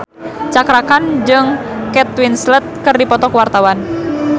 Cakra Khan jeung Kate Winslet keur dipoto ku wartawan